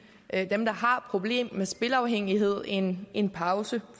dem der har problemer med spilafhængighed en en pause